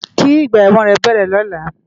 Ki igbà èwòn rè bèrè lòlá